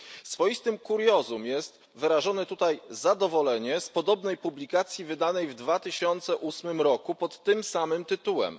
Swoistym kuriozum jest wyrażone tutaj zadowolenie z podobnej publikacji wydanej w 2008 roku pod tym samym tytułem.